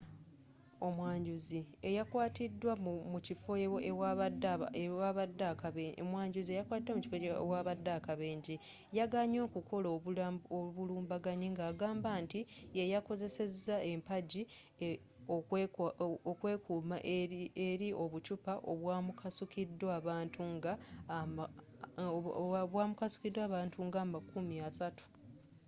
omwanjuzi eyakwatiddwa mu kifo ewabadde akabenje yeganye okukola obulumbaganyi n'agamba nti ye yakozeseza empagi okwekuuma eri obuccupa obwamukasukiddwa abantu nga amakumi asatu